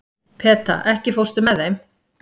Peta, ekki fórstu með þeim?